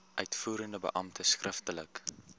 uitvoerende beampte skriftelik